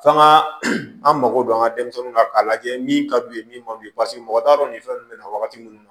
F'an ga an mago don an ga denmisɛnninw kan k'a lajɛ min ka d'u ye min man d'u ye paseke mɔgɔ t'a dɔn nin fɛn nunnu be na wagati munnu